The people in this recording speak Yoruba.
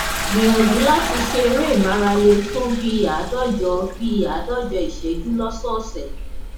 gbìyànjú láti ṣe eré ìmáralé fún bí i àádọjọ bí i àádọjọ ìṣẹjú lósọọsẹ